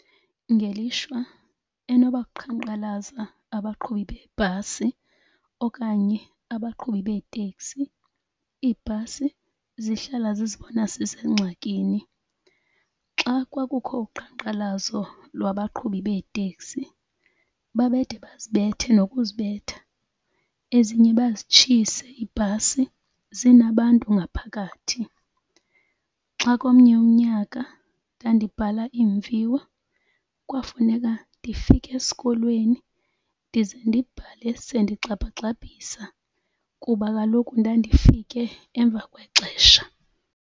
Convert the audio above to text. Ngelishwa enoba kuqhankqalaza abaqhubi beebhasi okanye abaqhubi beeteksi iibhasi zihlala zizibona zisengxakini. Xa kwakukho uqhankqalazo lwabaqhubi beeteksi babede bazibethe nokuzibetha, ezinye bazitshise iibhasi zinabantu ngaphakathi. Xa komnye umnyaka ndandibhala iimviwo kwafuneka ndifike esikolweni ndize ndibhale sendigxabha-gxabhisa kuba kaloku ndandifike emva kwexesha.